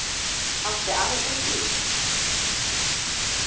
Átti afi þinn bíl?